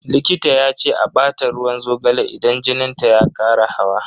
Likita ya ce a bata ruwan zogale idan jinin ta ya kara hawa.